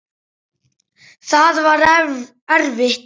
Það var erfitt.